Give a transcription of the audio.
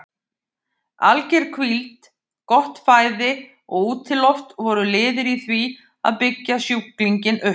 Alger hvíld, gott fæði og útiloft voru liðir í því að byggja sjúklinginn upp.